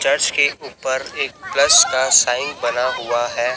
Church के ऊपर एक प्लस का साइन बना हुआ है।